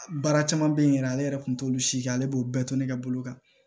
Baara caman bɛ yen yɛrɛ ale yɛrɛ kun t'olu si kɛ ale b'o bɛɛ to ne ka bolo kan